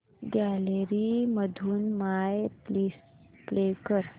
gallery मधून my list play कर